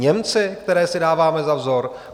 Němci, které si dáváme za vzor?